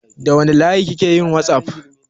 Da wanne layi kike yin whatsapp?